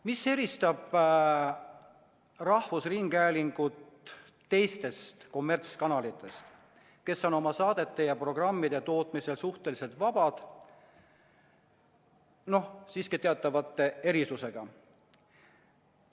Mis eristab rahvusringhäälingut kommertskanalitest, kes on oma saadete ja programmide tootmisel suhteliselt vabad, aga siiski teatavate erisustega?